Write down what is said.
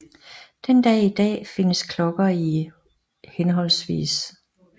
Den dag i dag findes klokker i hhv